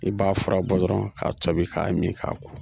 I b'a fura bɔ dɔrɔn k'a tobi k'a mi k'a ko